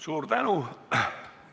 Suur tänu!